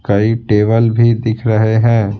कई टेबल भी दिख रहे हैं।